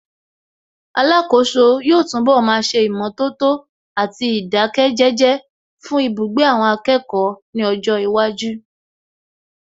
Alákòóso yóò túnbọ̀ máa ṣe ìmọ̀tótó àti ìdáké jẹ́jẹ́ fún ibugbe àwọn akẹ́kọ̀ọ́ ní ọjọ́ iwájú